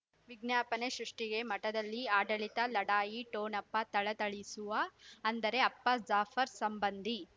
ವಿಜ್ಞಾಪನೆ ಸೃಷ್ಟಿಗೆ ಮಠದಲ್ಲಿ ಆಡಳಿತ ಲಢಾಯಿ ಠೊಣಪ ಥಳಥಳಿಸುವ ಅಂದರೆ ಅಪ್ಪ ಜಾಫರ್ ಸಂಬಂಧಿ